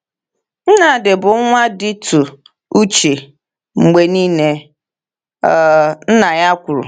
“Nnamdi bụ nwa dịtụ uche mgbe niile,” um nna ya kwuru.